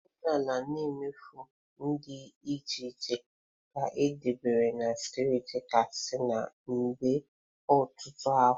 Omenala na emume dị iche iche ka edobere na steeti Katsina kemgbe ọtụtụ afọ.